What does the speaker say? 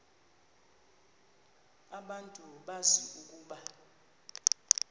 abantu bazi ukuba